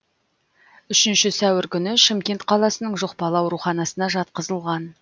үшінші сәуір күні шымкент қаласының жұқпалы ауруханасына жатқызылған